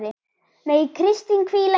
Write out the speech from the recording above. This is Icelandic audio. Megi Kristín hvíla í friði.